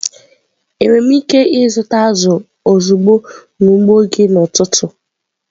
Enwere m ike ịzụta azụ̀ ozugbo n'ugbo gị n'ụtụtụ?